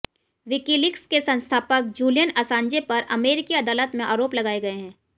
WikiLeaks के संस्थापक Julian Assange पर अमेरिकी अदालत में आरोप लगाए गए हैं